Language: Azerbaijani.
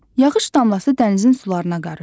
Yağış damlası dənizin sularına qarışdı.